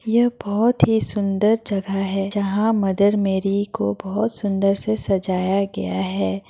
ये बहोत ही सुन्दर जगह है जहाँ मदर मेरी को बोहोत सुंदर से सजाया गया है।